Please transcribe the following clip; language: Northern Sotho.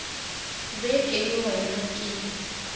be ke le wena ke